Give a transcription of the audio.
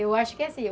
Eu acho que é assim.